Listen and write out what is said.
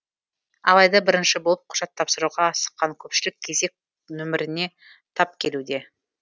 алайда бірінші болып құжат тапсыруға асыққан көпшілік кезек нөпіріне тап келуде